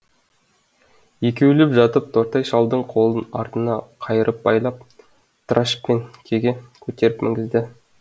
екеулеп жатып тортай шалдың қолын артына қайырып байлап трашпенкеге көтеріп мінгізді